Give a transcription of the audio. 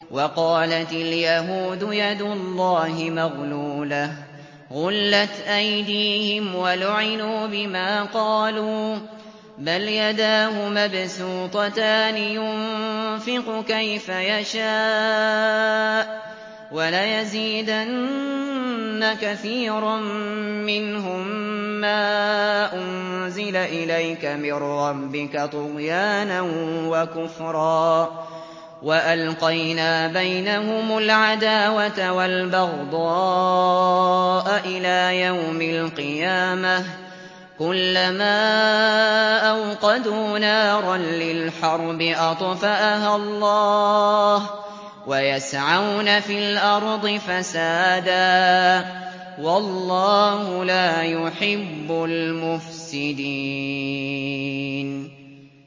وَقَالَتِ الْيَهُودُ يَدُ اللَّهِ مَغْلُولَةٌ ۚ غُلَّتْ أَيْدِيهِمْ وَلُعِنُوا بِمَا قَالُوا ۘ بَلْ يَدَاهُ مَبْسُوطَتَانِ يُنفِقُ كَيْفَ يَشَاءُ ۚ وَلَيَزِيدَنَّ كَثِيرًا مِّنْهُم مَّا أُنزِلَ إِلَيْكَ مِن رَّبِّكَ طُغْيَانًا وَكُفْرًا ۚ وَأَلْقَيْنَا بَيْنَهُمُ الْعَدَاوَةَ وَالْبَغْضَاءَ إِلَىٰ يَوْمِ الْقِيَامَةِ ۚ كُلَّمَا أَوْقَدُوا نَارًا لِّلْحَرْبِ أَطْفَأَهَا اللَّهُ ۚ وَيَسْعَوْنَ فِي الْأَرْضِ فَسَادًا ۚ وَاللَّهُ لَا يُحِبُّ الْمُفْسِدِينَ